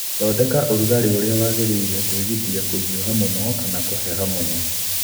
Thondeka ũrugalĩ ũria wagĩrĩile kwĩgitia kũhiũha mũno kana kũheha mũno